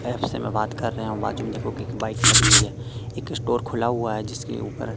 app से मैं बात कर रहा हूं बाजू में देखो एक बाइक खरी हुई है एक स्टोर खुला हुआ है जिसके ऊपर--